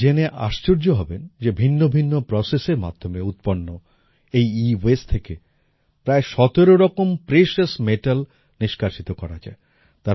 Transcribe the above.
আপনারা জেনে আশ্চর্য হবেন যে ভিন্ন ভিন্ন প্রসেস এর মাধ্যমে উৎপন্ন এই এওয়াসতে থেকে প্রায় ১৭ রকম প্রেশাস মেটাল নিষ্কাশিত করা যায়